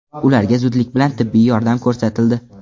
Ularga zudlik bilan tibbiy yordam ko‘rsatildi.